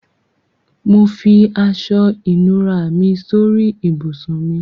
Mo fi aṣọ-ìnùra mi sórí ibùsùn mi.